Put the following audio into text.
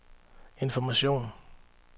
information